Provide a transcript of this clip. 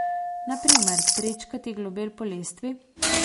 Na primer, prečkati globel po lestvi?